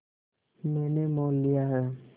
मैंने मोल लिया है